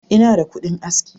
Ina da kudin aski.